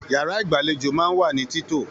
Yàrá igbalejo máa n wa ni tito.